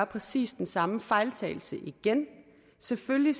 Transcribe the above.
præcis den samme fejltagelse igen selvfølgelig